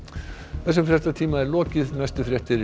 þessum fréttatíma er lokið næstu fréttir